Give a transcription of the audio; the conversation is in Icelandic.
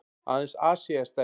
Aðeins Asía er stærri.